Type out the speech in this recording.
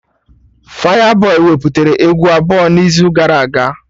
Fayabọy wepụtara egwu abụọ n'izu gara aga